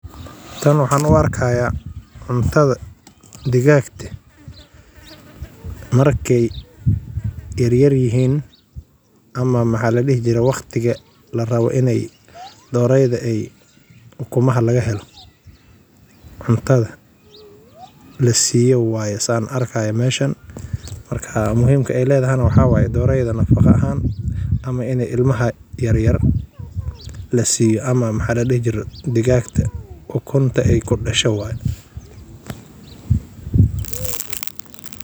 Tan waxaan uarkaya cuntadha digaagta markey ey yaryaryihin ama waqtiga larabo iney doreyda ey umuha lagahelo cuntadha lasiiyo waye saan arkaay meshan. Marka muhiimka ey leedhahana waxaa waye doreeyda nafaqa ahaan ama in ilmaha yaryar lasiiyo ama maxa ladihijire digaaga ukunta ey kudasho waye.